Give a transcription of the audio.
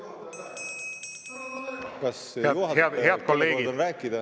Saalis viibib ärritunud meeskodanik.